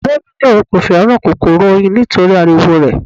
Ẹ̀gbọ́n mi ní òun kò fẹ́ràn kòkòrò oyin nítorí ariwo rẹ̀.